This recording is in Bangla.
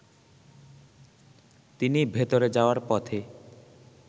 তিনি ভেতরে যাওয়ার পথে